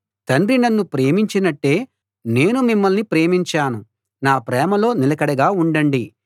తండ్రి నన్ను ప్రేమించినట్టే నేను మిమ్మల్ని ప్రేమించాను నా ప్రేమలో నిలకడగా ఉండండి